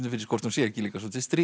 hvort hún sé ekki svolítið stríðin